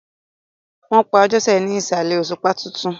Wọn pa Àjosẹ ni aṣálẹ̀ òṣùpá tuntun.